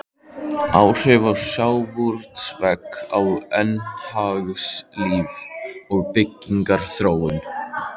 Áhrif sjávarútvegs á efnahagslíf og byggðaþróun.